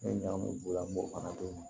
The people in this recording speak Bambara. N ye ɲagamu n b'o fana d'o ma